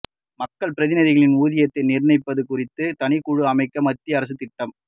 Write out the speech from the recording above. மக்கள் பிரதிநிதிகளின் ஊதியத்தை நிர்ணயிப்பது குறித்து தனிக்குழு அமைக்க மத்திய அரசு திட்டம்